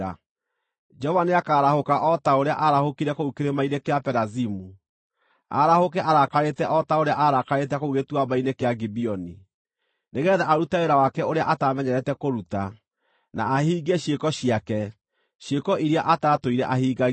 Jehova nĩakarahũka o ta ũrĩa aarahũkire kũu Kĩrĩma-inĩ kĩa Perazimu, arahũke arakarĩte o ta ũrĩa aarakarĩte kũu Gĩtuamba-inĩ kĩa Gibeoni: nĩgeetha arute wĩra wake ũrĩa atamenyerete kũruta, na ahingie ciĩko ciake, ciĩko iria atatũire ahingagia.